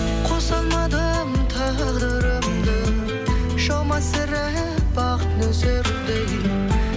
қоса алмадым тағдырымды жаумас сірә бақ нөсердей